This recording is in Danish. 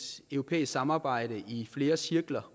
europæisk samarbejde i flere cirkler